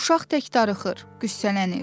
Uşaq tək darıxır, qüssələnir.